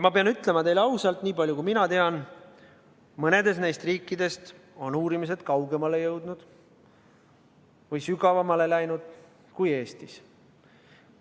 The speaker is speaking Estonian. Ma pean ütlema teile ausalt, et nii palju, kui mina tean, on mõnes neist riikidest uurimised kaugemale jõudnud või sügavamale läinud kui Eestis.